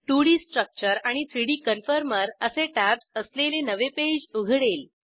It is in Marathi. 2डी स्ट्रक्चर आणि 3डी कन्फॉर्मर असे टॅब्ज असलेले नवे पेज उघडेल